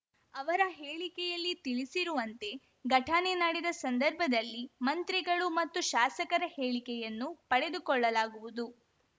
ಅವರ ಹೇಳಿಕೆಯಲ್ಲಿ ತಿಳಿಸಿರುವಂತೆ ಘಟನೆ ನಡೆದ ಸಂದರ್ಭದಲ್ಲಿ ಮಂತ್ರಿಗಳು ಮತ್ತು ಶಾಸಕರ ಹೇಳಿಕೆಯನ್ನು ಪಡೆದುಕೊಳ್ಳಲಾಗುವುದು